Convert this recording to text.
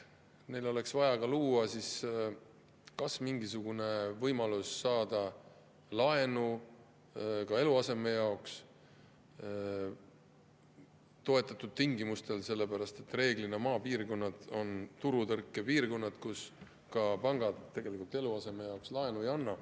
Neile oleks vaja luua mingisugune võimalus saada eluaseme jaoks laenu toetatud tingimustel, sest reeglina on maapiirkonnad turutõrkepiirkonnad, kus pangad eluaseme jaoks laenu ei anna.